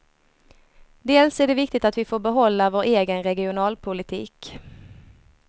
Dels är det viktigt att vi får behålla vår egen regionalpolitik.